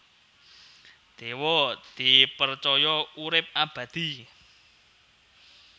Dewa dipercaya urip abadi